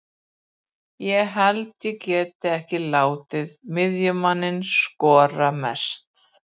Ég held ég geti ekki látið miðjumann skora mest.